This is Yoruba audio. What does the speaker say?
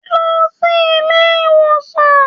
Lọ sí ilé ìwòsàn!